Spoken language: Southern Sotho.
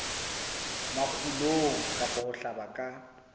makgulong kapa ho hlaba ka